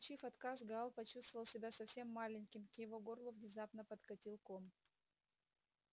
получив отказ гаал почувствовал себя совсем маленьким к его горлу внезапно подкатил ком